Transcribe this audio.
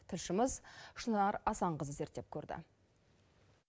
тілшіміз шынар асанқызы зерттеп көрді